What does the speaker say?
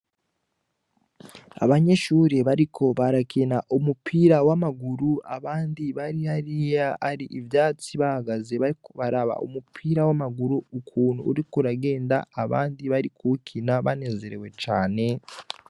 Abanyeshure bariko barakina umupira w’amaguru abandi bari hariya hari ivyatsi bahagaze bariko bararaba umupira, w’amaguru ukuntu uriko Uragenda abandi barikuwukina banezerewe cane .